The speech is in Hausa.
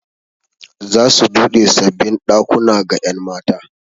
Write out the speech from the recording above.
Za su buɗe sabbin ɗakuna ga 'yan mata.